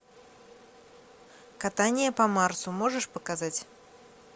катание по марсу можешь показать